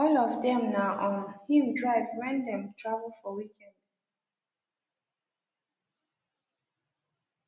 all of them na um him drive when dem travel for weekend